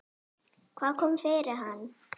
Hvað kom fyrir hann?